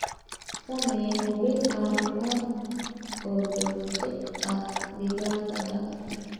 Samee hubin caafimaad oo joogto ah digaaggaaga.